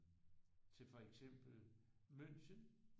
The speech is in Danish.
Til for eksempel München